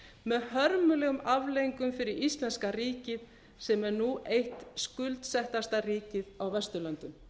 með hörmulegum afleiðingum fyrir íslenska ríkið sem er nú eitt skuldsettasta ríkið á vesturlöndum